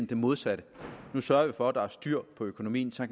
det modsatte nu sørger vi for at der er styr på økonomien så